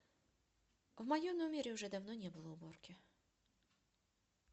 в моем номере уже давно не было уборки